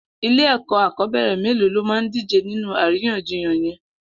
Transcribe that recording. Ilé ẹkọ akọbẹrẹ méló lómá dijé ninú àrínyànjíyàn yèn?